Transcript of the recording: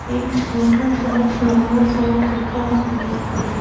एक छोटा सा फ्लावर पाट रखा हुआ है।